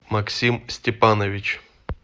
максим степанович